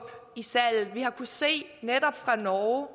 i salget vi har kunnet se i norge